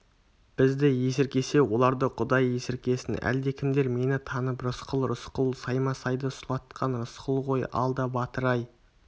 бізді есіркесе оларды құдай есіркесін әлдекімдер мені танып рысқұл рысқұл саймасайды сұлатқан рысқұл ғой алда батыр-ай